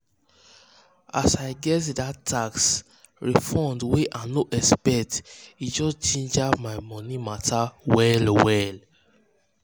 as i get that tax um refund wey um i no expect e just ginger my money matter um well-well.